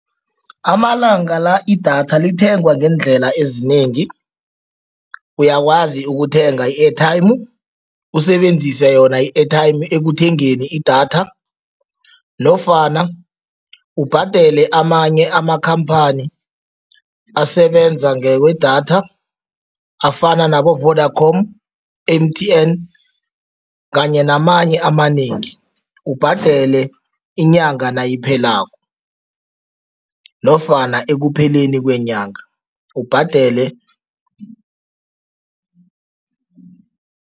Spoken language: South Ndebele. Amalanga la idatha lithengwa ngeendlela ezinengi. Uyakwazi ukuthenga i-airtime usebenzise yona i-airtime ekuthengeni idatha nofana ubhadele amanye amakhamphani asebenza ngewedatha afana nabo-Vodacom,M_T_N kanye namanye amanengi, ubhadele inyanga nayiphelako nofana ekupheleni kwenyanga ubhadele.